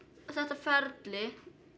þetta ferli